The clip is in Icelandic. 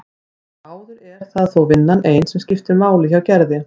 Eins og áður er það þó vinnan ein sem máli skiptir hjá Gerði.